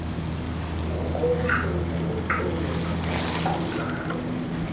ngokobuhlobo ngoxolo nangokuqondana